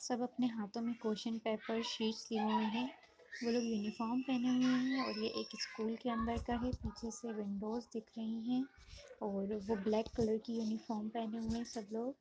सब अपने हाथो में क्वेश्चन पेपर शीटस लिए हुए हैं वो लोग यूनिफॉर्म पहने हुए हैं और ये एक स्कूल के अंदर का है पीछे से विंडोज़ दिख रही हैं और वो ब्लैक कलर की यूनिफॉर्म पहने हुए हैं सब लोग।